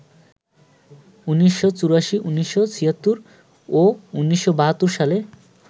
১৯৮৪, ১৯৭৬ ও ১৯৭২ সালে